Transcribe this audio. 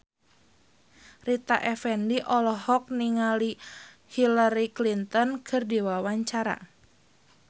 Rita Effendy olohok ningali Hillary Clinton keur diwawancara